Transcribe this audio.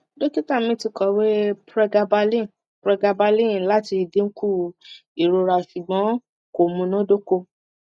dọkita mi ti kọwe pregabalin pregabalin lati dinku irora ṣugbọn ko munadoko